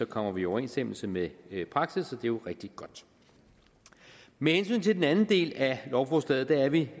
kommer vi i overensstemmelse med praksis og jo rigtig godt med hensyn til den anden del af lovforslaget er vi